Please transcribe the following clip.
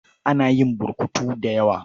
Ana yin burkutu da dawa.